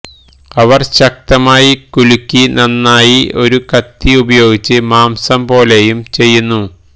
അവർ ശക്തമായി കുലുക്കി നന്നായി ഒരു കത്തി ഉപയോഗിച്ച് മാംസംപോലെയും ചെയ്യുന്നു